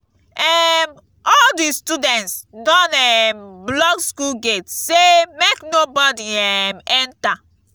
um all di students don um block skool gate sey make nobodi um enta.